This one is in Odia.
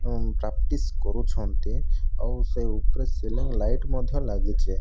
ପ୍ରାକ୍ଟିସ୍ କରୁଛନ୍ତି। ଆଉ ସେ ଉପରେ ସିଲିଂ ଲାଇଟ୍ ମଧ୍ୟ ଲାଗିଚି।